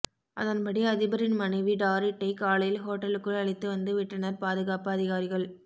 அதன்படி அதிபரின் மனைவி டாரிட்டை காலையில் ஹோட்டலுக்குள் அழைத்து வந்து விட்டனர் பாதுகாப்பு அதிகாரிகள்